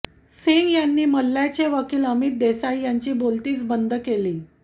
सिंग यांनी मल्ल्याचे वकील अमित देसाई यांची बोलतीच बंद केली